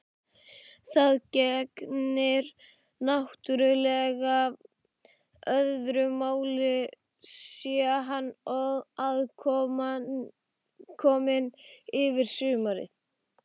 Það gegnir náttúrlega öðru máli sé hann aðkominn yfir sumarið.